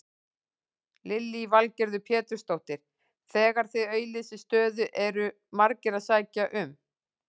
Lillý Valgerður Pétursdóttir: Þegar þið auglýsið stöðu eru margir sem sækja um?